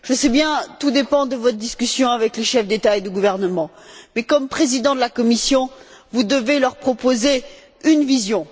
Je sais bien que tout dépend de votre discussion avec les chefs d'État et de gouvernement, mais comme Président de la Commission, vous devez leur proposer une vision.